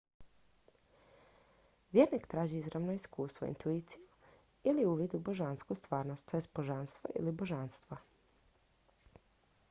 vjernik traži izravno iskustvo intuiciju ili uvid u božansku stvarnost tj božanstvo ili božanstva